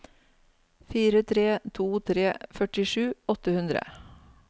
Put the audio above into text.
fire tre to tre førtisju åtte hundre